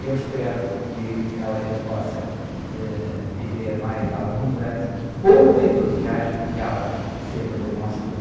Eu espero que ela ainda possa, ãh, viver mais alguns anos com o entusiasmo que ela sempre demonstrou.